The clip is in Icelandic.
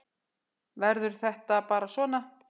Verður þetta bara svona?